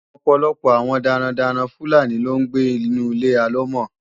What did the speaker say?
Ọ̀pọ̀lọpọ̀ àwọn darandaran Fúlàní ló ń gbé inu Ilé alọ́mọ̀.